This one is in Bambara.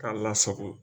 K'a lasago